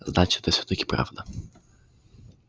значит это всё-таки прав да